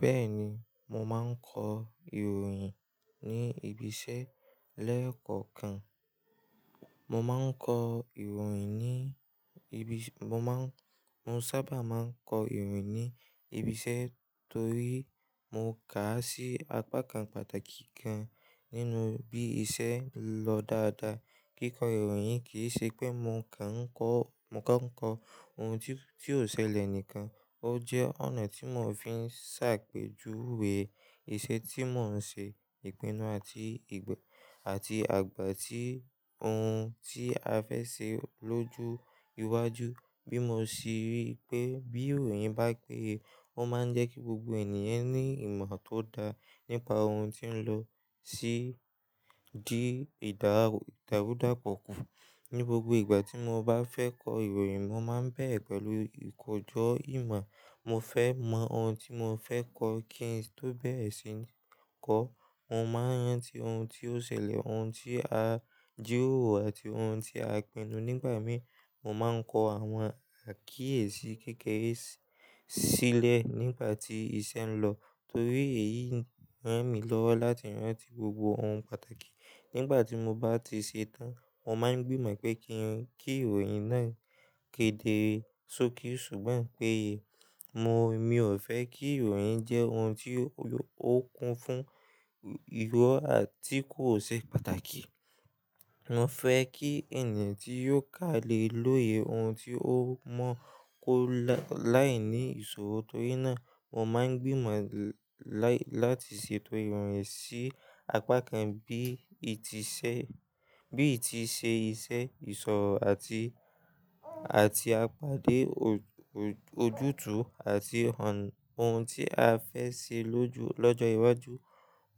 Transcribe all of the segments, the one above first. Bẹ́ẹ̀ni, mo máa ń kọ ìròyìn ní ibi iṣẹ́ lẹ́ẹ̀kookan. Mo máa ń kọ ìròyìn ní ibi iṣẹ́, mo maa n, mo sa ba ma n ko iroyin ni ibi ise to ri mo kaa si apa kan pataki kan, ninu bi ise lo daadaa. Kíkọ ìròyìn kì í ṣe pé mo kàn ń kọ, mo kọ ń kọ ohun tí, tí ò ṣẹlẹ̀ nìkan, ó jẹ́ ọ̀nà tí mò ń fi ń ṣàpèjúwe ìṣe tí mò ń ṣe, ìpinnu àti, àti àgbà tí ohun tí a fẹ́ ṣe lóju ìwájú. Bí mo ṣe rí i pé bí ìròyìn bá péye, ó máa ń jẹ́ kí gbogbo ènìyàn ní ìmọ̀ tó dá nípa ohun tí ń lọ sí, di ìdárùn, ìdárúdàpọ̀ kún. Ni gbogbo ìgbà tí mo bá fẹ́ kọ ìròyìn, mo máa ń bẹ̀rẹ̀ pẹ̀lú ìkọjọ ìmọ̀. Mo fẹ́ mọ ohun tí mo fẹ́ kọ kí n tó bẹ̀rẹ̀ sí ní kọ. Mo máa ń rántí ohun tí ó ṣẹlẹ̀, ohun tí a jíròrò àti ohun tí a pinnu. Nígbà mí, mo máa ń kọ àwọn àkíyèsí kékeré sílẹ̀ nígbà tí iṣẹ́ ń lọ torí èyí ń ràn mí lọ́wọ́ láti rántí gbogbo ohun pàtàkì. Nígbà tí mo bá ti ṣe tán, mo máa ń gbìmọ̀ pé kí i, kí ìròyìn náà kéde sókì. Ṣùgbọ́n pé mo, mi ò fẹ́ kí ìròyìn jẹ́ ohun tí ó kun fún ìrọ́ àti kó ṣe pàtàkì. Mo fẹ́ kí ẹni tí yóò kà lè lóye ohun tí ó mọ kó láì ní ìṣòro torí náà mo máa ń gbìmọ̀ láti ṣètò ìròyìn sí apá kan bí i ti ṣẹ́, bí i ti ṣe iṣẹ́, ìṣòro àti, àti àpádé ojútùú àti ọ̀nà, ohun tí a fẹ́ ṣe lóju, lọ́jọ́ iwájú.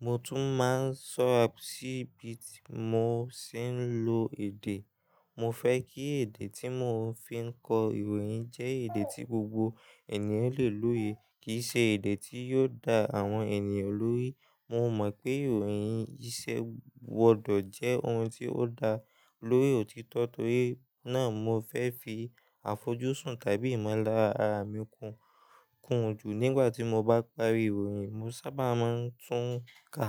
Mo tún máa ń ṣọ́ra sí ibi tí mo sì ń lo èdè. Mo fẹ́ kí èdè tí mò ń fi ń kọ ìròyìn jẹ́ èdè tí gbogbo ènìyàn lè lóye. Kì í ṣe èdè tí yóò da àwọn ènìyàn lórí. Mo mọ̀ pé ìròyìn iṣẹ́ wọ̀dọ̀ jẹ́ ohun tí ó dá lórí òtítọ́ torí náà mo fẹ́ fi àfojúsùn tàbí ìmọ̀lára ara mi kù, kùn jù. Nígbà tí mo bá parí ìròyìn, mo sábà máa ń tún ka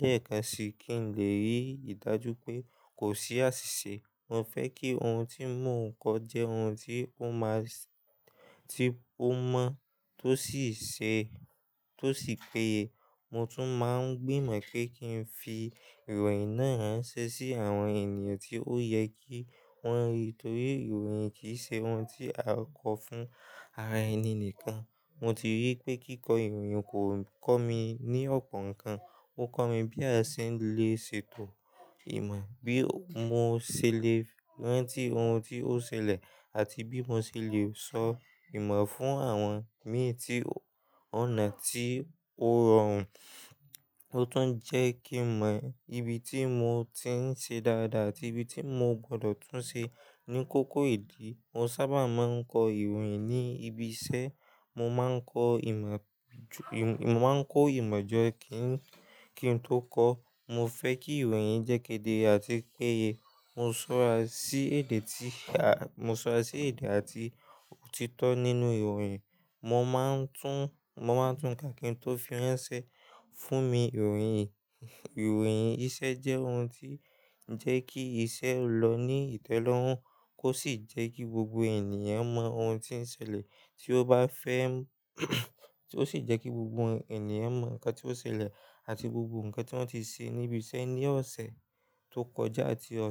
lẹ́ẹ̀kan si kí n lè rí ìdájú pé kò sí àṣìṣe. Mo fẹ́ kí ohun tí mò ń kọ jẹ́ ohun tí ó máa sì, tí ó mọ́ tó sì ṣe, tó sì péye. Mo tún máa ń gbìmọ̀ pé kí n fi ìròyìn náà ránṣẹ́ sí àwọn ènìyàn tí ó yẹ kí wọ́n rí torí ìròyìn kì í ṣe ohun tí a kọ fún ara ẹni nìkan. Mo ti rí i pé kíkọ ìròyìn kò ń kọ́ mi ní ọ̀pọ̀ nǹkan, ó kọ́ mi bí a ṣe lè ṣètò ìmọ̀, bí mo ṣe lè rántí ohun tí ó ṣẹlẹ̀ àti bí mo ṣe lè sọ ìmọ̀ fún àwọn mi tí ọ̀nà tí ó rọrùn, ó tún jẹ́ kí mọ ibi tí mo ti ń ṣe dáadáa àti ibi tí mo gbọ́dọ̀ tún ṣe. Ni kókó ìdí, mo sábà máa ń kọ ìròyìn ní ibi iṣẹ́. Mo máa ń kọ ìmọ̀ ju, mo máa ń kó ìmọ̀ jẹ́ kí n, kí n tó kọ. Mo fẹ́ kí ìròyìn jẹ́ kéde àti péye. Mo ń ṣọ́ra sí èdè tí a, mo ń ṣọ́ra sí èdè àti òtítọ́ nínú ìròyìn. Mo máa ń tún, mo máa ń tún ká kí n tó fi ránṣẹ́ fún mi. Ìròyìn, ìròyìn iṣẹ́ jẹ́ ohun tí ń jẹ́ kí iṣẹ́ lọ ní ìtẹ́lọ́rùn kó sì jẹ́ kí gbogbo ènìyàn mọ ohun tí ń ṣẹlẹ̀ tí ó bá fẹ́, tí ó sì jẹ́ kí gbogbo ènìyàn mọ nǹkan tí ó ṣẹlẹ̀ àti gbogbo nǹkan tí wọ́n ti ṣe níbi iṣẹ́ ní ọ̀sẹ̀ tó kọjá àti ọ̀ṣẹ̀